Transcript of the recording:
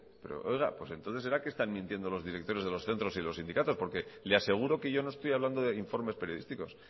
pero oiga entonces será que están mintiendo los directores de los centros y los sindicatos porque le aseguro que yo no estoy hablando de informes periodísticos